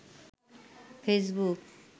Facebook